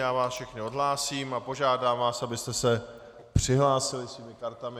Já vás všechny odhlásím a požádám vás, abyste se přihlásili svými kartami.